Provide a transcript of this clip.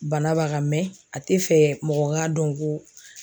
Bana b'a kan mɛ a te fɛ mɔgɔ k'a dɔn ko